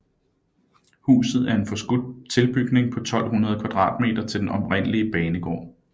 Huset er en forskudt tilbygning på 1200 m² til den oprindelige banegård